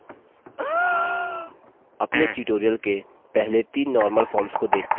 अपने tutorial के पहले तीन normal forms को देखते हैं